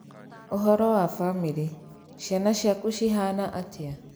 Ũhoro wa famĩrĩ? Ciana ciaku cihana atĩa?